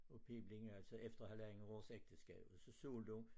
Og piblan altså efter halvandet års ægteskab så sultede hun